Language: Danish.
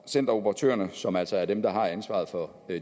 centeroperatørerne som altså er dem der har ansvaret for